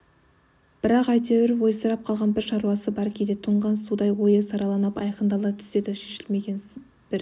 бірақ әйтеуір ойсырап қалған бір шаруасы бар кейде тұнған судай ойы сараланып айқындала түседі шешілмеген бір